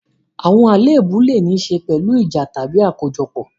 Àwọn àléébù lè ní í ṣe pẹ̀lú ìjà tàbí àkójọpọ̀.